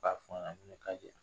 Ta fɔ a ɲɛnɛ, n'u ye ka jira